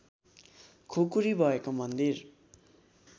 खुकुरी भएको मन्दिर